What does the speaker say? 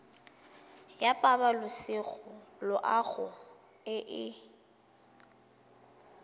ya pabalesego loago e e